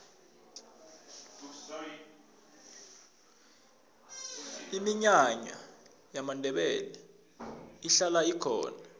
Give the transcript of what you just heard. iminyanya yamandebele ihlala ikhona